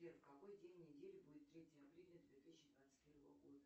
сбер в какой день недели будет третье апреля две тысячи двадцать первого года